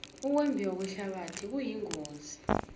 ukuyembiwe kwehlabathi kuyingozi